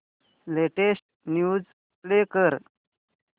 latest news play कर